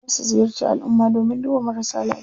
Za su ziyarci alumma domin duba marasa lafiya.